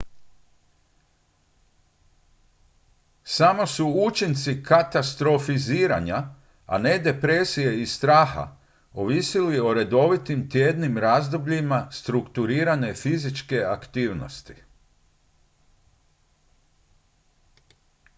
samo su učinci katastrofiziranja a ne depresije i straha ovisili o redovitim tjednim razdobljima strukturirane fizičke aktivnosti